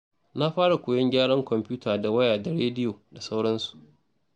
Na fara koyon gyaran kwomfuta da waya da rediyo sauransu.